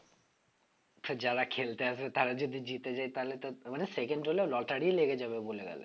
আচ্ছা যারা খেলতে আসবে তারা যদি জিতে যায় তাহলে তো মানে second হলেও lottery লেগে যাবে